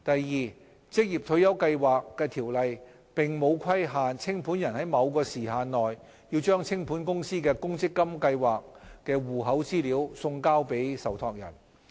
二《條例》並沒有規限清盤人在某時限內把清盤公司的公積金計劃戶口資料送交受託人。